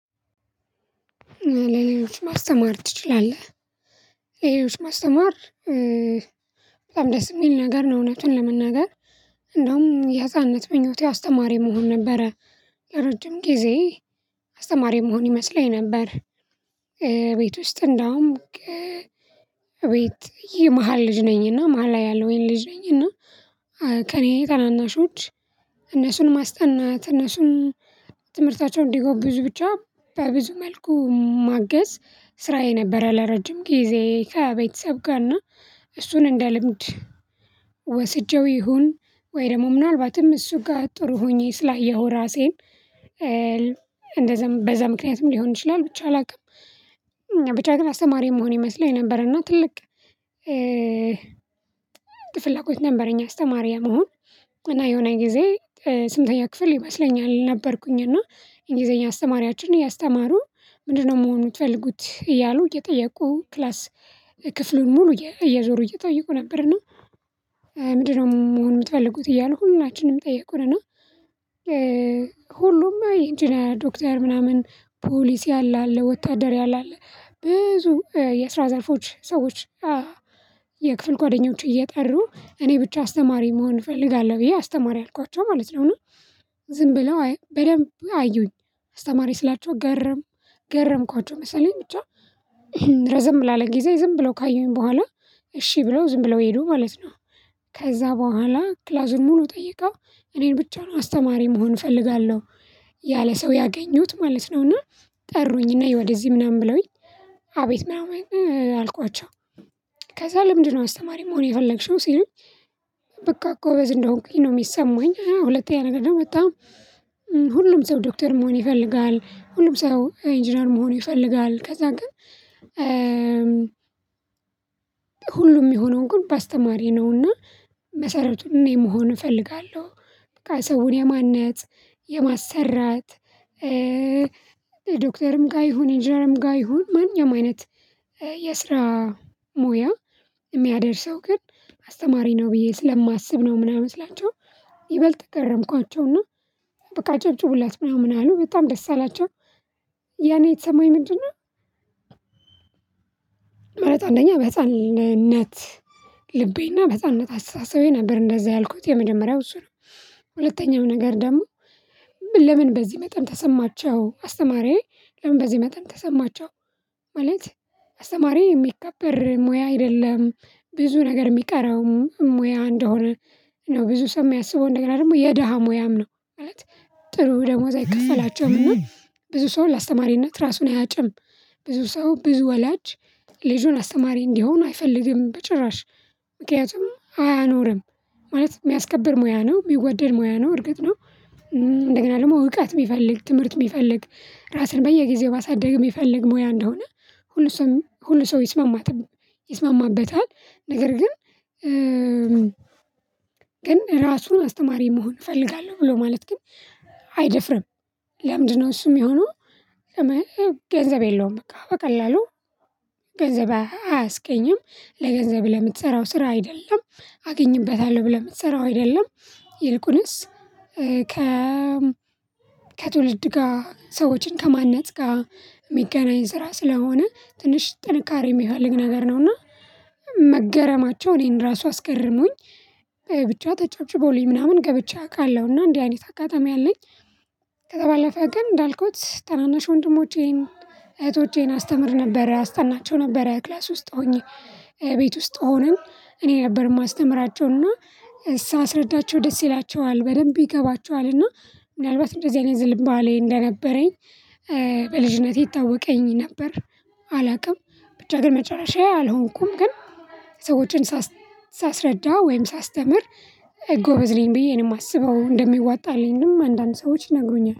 ለሌሎች ማስተማር ትችላለህ? ሌሎች ማስተማር በጣም ደስ የሚል ነገር ነው። እውነቱን ለመናገር እንደውም የህፃንነት ምኞቴ አስተማሪ መሆን ነበረ። ረጅም ጊዜ አስተማሪ መሆን ይመስለኝ ነበር። ቤት ውስጥ እንዳውም ከ እቤት የመሃል ልጅ ነኝ እና መሃል ላይ ያለዉኝ ልጅ ነኝ። እና ከእኔ ታናናሾች እነሱን ማስጠናት እነሱን ትምህርታቸውን እንዲጎብዙ ብቻ በብዙ መልኩ ማገዝ ስራዬ ነበረ። ለረጅም ጊዜ ከቤተሰብ ጋርና እሱን እንደ ልምድ ወስጄው ይሁን ወይ ደግሞ ምናልባትም እሱ ጋር ጥሩ ሆኜ ስላየው ራሴን እንደዛ በዛ ምክንያትም ሊሆን ይችላል። ብቻ አላውቅም ብቻ ግን አስተማሪ መሆን ይመስላኝ ነበር እና ትልቅ ፍላጎት ነበረኝ። አስተማሪ የመሆን እና የሆነ ጊዜ ስምንተኛ ክፍል ይመስለኛል ነበርኩኝ እና እንግሊዘኛ አስተማሪያችን እያስተማሩ ምንድነው መሆኑን የፈለጉት እያሉ እየጠየቁ ክላስ ክፍሉን ሙሉ እየዞሩ እየጠየቁ ነበር ነው። እና ምንድነው መሆን የምትፈልጉት እያሉ ሁላችንም ጠየቁን። እና ሁሉም ኢንጂነር ዶክተር ምናምን ፖሊሲ ያለ አለ ወታደር ያለ አለ ብዙ የስራ ዘርፎች ሰዎች የክፍል ጓደኞች እየጠሩ እኔ ብቻ አስተማሪ መሆን እፈልጋለሁ ብዬ አስተማሪ አልኳቸው ማለት ነው። ዝም ብለው በደንብ አዩኝ አስተማሪ ስላቸው ገረም ገረምኳቸው መሰለኝ ብቻ ረዘም ላለ ጊዜ ዝም ብለው ካዩኝ በኋላ እሺ ብለው ዝም ብለው ሄዱ ማለት ነው። ከዛ በኋላ ክላሱን ሙሉ ጠይቀው እኔን ብቻ ነው አስተማሪ መሆን እፈልጋለሁ። ያለ ሰው ያገኙት ማለት ነውና። ጠሩኝ ነይ ወደዚህ ምናምን ብለውኝ አቤት ምናምን አልኳቸው አልኳቸው። ከዛ ለምንድነው አስተማሪ መሆን የፈለግሽው ሲሉኝ? በቃ ጎበዝ እንደሆንኩኝ ነው የሚሰማኝ ሁለተኛ ነገር ደግሞ በጣም ሁሉም ሰው ዶክተር መሆን ይፈልጋል ሁሉም ሰው ኢንጂነር መሆን ይፈልጋል። ከዛ ግን ሁሉም የሚሆነው ግን በአስተማሪ ነውና። መሰረቱን እኔ መሆን እፈልጋለሁ በቃ ሰውን የማነጽ የማሰራት ዶክተርም ጋር ይሁን ኢንጅነርም ጋር ይሁን ማንኛውም አይነት የስራ ሞያ የሚያደርሰው ግን አስተማሪ ነው ብዬ ስለማስብ ነው። ምናምን ስላቸው ይበልጥ ገረምኳቸውና በቃ አጨብጩቡላት ምናምን አሉ በጣም ደስ አላቸው። ያኔ የተሰማኝ ምንድነው? መረጥ አንደኛ በህፃንነት ልቤና በህፃንነት አስተሳሰቤ ነበር እንደዛ ያልኩት የመጀመሪያው እሱ ነው። ሁለተኛው ነገር ደግሞ ለምን በዚህ መጠን ተሰማቸው አስተማሪዬ ለምን በዚህ መጠን ተሰማቸው? ማለት አስተማሪዬ የሚከበር ሙያ አይደለም። ብዙ ነገር የሚቀረውም ሙያ እንደሆነ ነው ብዙ ሰው የሚያስበው እንደገና ደግሞ የደሃ ሙያም ነው ማለት ጥሩ ደሞዝ አይከፈላቸውም። እና ብዙ ሰው ለአስተማሪነት ራሱን አያጭም ብዙ ሰው ብዙ ወላጅ ልጁን አስተማሪ እንዲሆን አይፈልግም በጭራሽ ምክንያቱም አያኖርም ማለት የሚያስከብር ሙያ ነው ሚወደድ ሞያ ነው እርግጥ ነው። እንደገና ደግሞ እውቀት የሚፈልግ ትምህርት የሚፈልግ ራስን በየጊዜው ባሳደግ የሚፈልግ ሙያ እንደሆነ ሁሉ ሰው ሁሉ ሰው ይስማማትም ይስማማበታል። ነገር ግን ግን ራሱን አስተማሪ መሆን እፈልጋለሁ ብሎ ማለት ግን አይደፍርም። ለምንድነው እሱም የሚሆነው? ገንዘብ የለውም በቃ በቀላሉ ገንዘብ አያስገኝም ለገንዘብ ለምትሰራው ስራ አይደለም። አገኝበታለሁ ብለህ የምትሰራው አይደለም ይልቁንስ ከ ከትውልድ ጋር ሰዎችን ከማነጽ ጋር የሚገናኝ ስራ ስለሆነ ትንሽ ጥንካሬ የሚፈልግ ነገር ነውና። መገረማቸው እኔን ራሱ አስገርሞኝ ብቻ ተጨብጭቦልኝ ምናምን ገብቼ አቃለው እና እንዲህ አይነት አጋጣሚ አለኝ። ከዛ ባለፈ ግን እንዳልኩት ታናናሽ ወንድሞቼን እህቶቼን አስተምር ነበር አስጠናቸው ነበር ክላስ ውስጥ ሆኜ ቤት ውስጥ ሆነን እኔ ነበር የማስተምራቸውና ሳስረዳቸው ደስ ይላቸዋል በደንብ ይገባቸዋልና ምናልባት እንደዚህ አይነት ዝንባሌ እንደነበረኝ በልጅነቴ ይታወቀኝ ነበር። አላውቅም ብቻ ግን መጨረሻ አልሆንኩም ግን ሰዎችን ሳስረዳ ወይም ሳስተምር ጎበዝ ነኝ ብዬ ነው የማስበው እንደሚዋጣልኝም አንዳንድ ሰዎች ይነግሩኛል